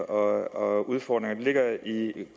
og udfordringer ligger i